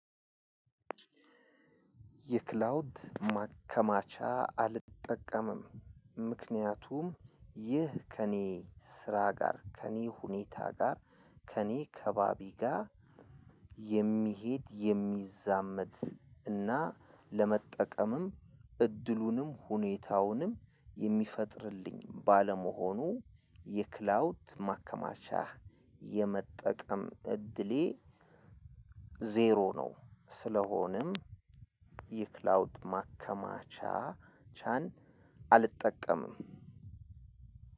የክላውድ ማከማቻ አልጠቀምም። ምክንያቱም ይህ ከእኔ ስራ ጋር ከእኔ ሁኔታ ጋር ከእኔ ከባቢ ጋር የሚሄድ የሚዛመድ እና ለመጠቀምም እድሉንም ሁኔታውንም የሚፈጥርልኝ ባለመሆኑ የክላውድ ማከማቻ የመጠቀም እድሌ። ዜሮ ነው። ስለሆነም የክላውድ ማከማቻቻን አልጠቀምም።